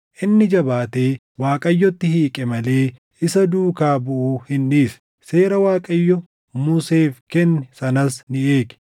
Inni jabaatee Waaqayyotti hiiqe malee isa duukaa buʼuu hin dhiisne; seera Waaqayyo Museef kenne sanas ni eege.